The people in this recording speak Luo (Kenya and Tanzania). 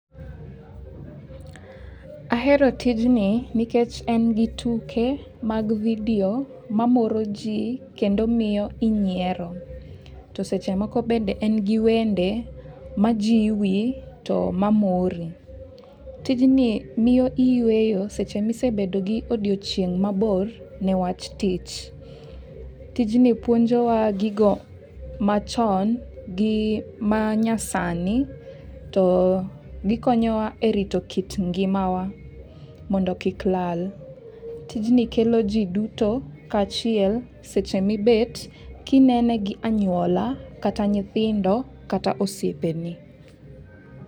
Ahero tijni nikech en gi tuke mag [csvideo mamoro ji, kendo miyo inyiero. To seche moo bende en gi wende majiwi, to mamori. Tijni miyo iyueyo seche misebedo gi odiochieng' mabor newach tich. Tijni puonjowa gigo machon gi manyasani, to gikonyowa e rito kit ngimawa mondo kik lal. Tijni kelo ji duto kaachiel seche mibet kinene gi anyuola kata nyithindo ,kata osiepeni.